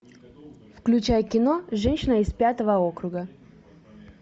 включай кино женщина из пятого округа